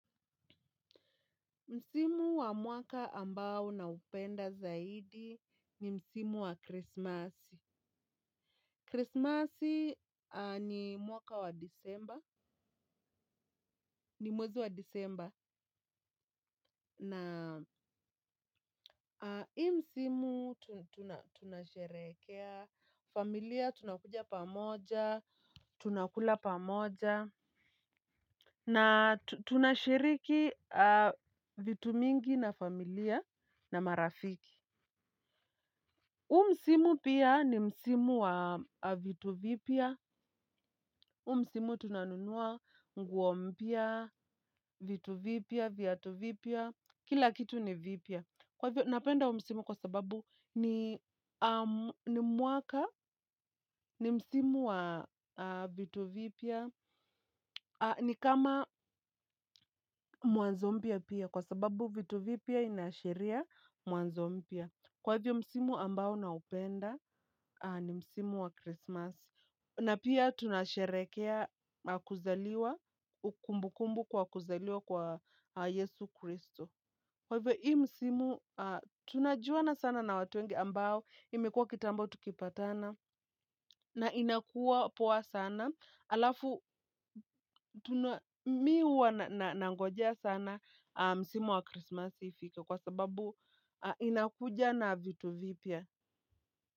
Msimu wa mwaka ambao naupenda zaidi ni msimu wa krisimasi. Krisimasi ni mwaka wa disemba, ni mwezi wa disemba na hii msimu tunasherehekea, familia tunakuja pamoja, tunakula pamoja na tunashiriki vitu mingi na familia na marafiki huu msimu pia ni msimu wa vitu vipya. Huu msimu tunanunua nguo mpya, vitu vipya, viatu vipya. Kila kitu ni vipya. Kwa hivyo napenda huuvmsimu kwa sababu ni mwaka, ni msimu wa vitu vipya. Ni kama mwanzo mpya pia kwa sababu vitu vipya inaashiria mwanzo mpya. Kwa hivyo msimu ambao naupenda ni msimu wa Krisimasi. Na pia tunasherehekea kuzaliwa, kumbu kumbu kwa kuzaliwa kwa Yesu Kristo. Kwa hivyo, hii msimu tunajuana sana na watu wengi ambao imekuwa kitambo tukipatana na inakuwa poa sana. Alafu, mimi huwa nangojea sana msimu wa Krisimasi ifike kwa sababu inakuja na vitu vipya.